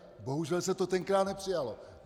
Bohužel se to tenkrát nepřijalo.